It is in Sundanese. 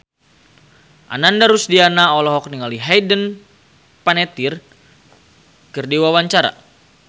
Ananda Rusdiana olohok ningali Hayden Panettiere keur diwawancara